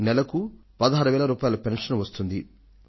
నెలకు 16000 రూపాయల పెన్షన్ వస్తుంది